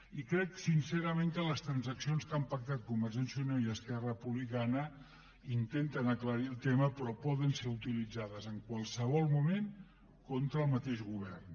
i crec sincerament que les transaccions que han pactat convergència i unió i esquerra republicana intenten aclarir el tema però poden ser utilitzades en qualsevol moment contra el mateix govern